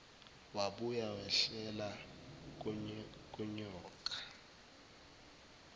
wabuya wehlela kunyoka